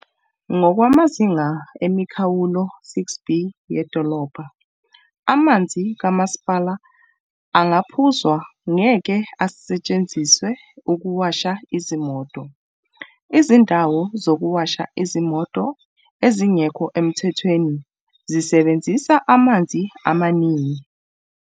"Ngokwamazinga emikhawulo 6B yedolobha, amanzi kama sipala angaphuzwa ngeke asetshenziswe ukuwasha izimoto. Izindawo zokuwasha izimoto ezingekho emthethweni zisebenzisa amanzi amaningi."